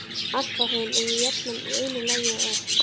Apalhraun eru jafnan í einu lagi og oft